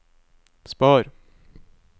spar